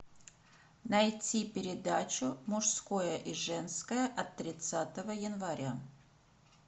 найти передачу мужское и женское от тридцатого января